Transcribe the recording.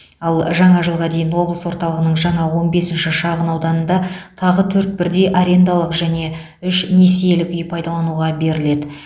ал жаңа жылға дейін облыс орталығының жаңа он бесінші шағын ауданында тағы төрт бірдей арендалық және үш несиелік үй пайдалануға беріледі